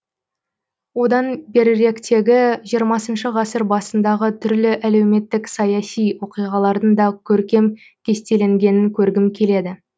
одан беріректегі жиырмасыншы ғасыр басындағы түрлі әлеуметтік саяси оқиғалардың да көркем кестеленгенін көргім келеді